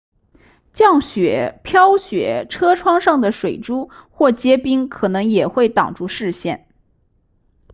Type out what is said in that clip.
降雪飘雪车窗上的水珠或结冰可能也会挡住视线